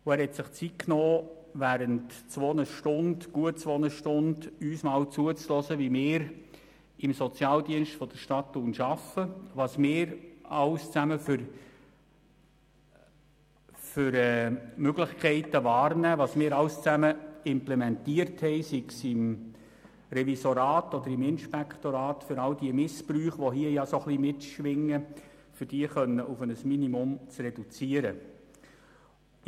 Er hat sich Zeit genommen, uns während gut zwei Stunden zuzuhören, wie wir im Sozialdienst Thun arbeiten, welche Möglichkeiten wir wahrnehmen, was wir alles implementiert haben, sei es im Revisorat oder im Inspektorat, um die Missbräuche, die hier gemeint sind, auf ein Minimum reduzieren zu können.